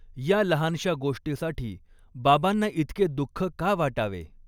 या लहानशा गोष्टीसाठी बाबांना इतके दुःख का वाटावे